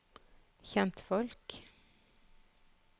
kjentfolk